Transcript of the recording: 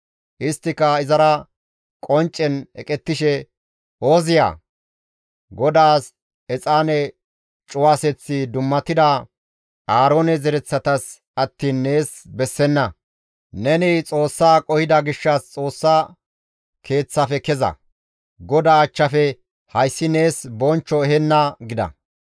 Isttika izara qonccen eqettishe, «Ooziya! GODAAS exaane cuwaseththi dummatida Aaroone zereththatas attiin nees bessenna; neni Xoossa qohida gishshas Xoossa Keeththafe keza! GODAA achchafe hayssi nees bonchcho ehenna» gida.